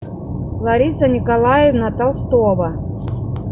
лариса николаевна толстова